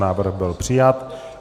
Návrh byl přijat.